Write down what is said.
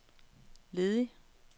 ledig